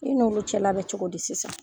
I n'olu cɛla bɛ cogo di sisan ?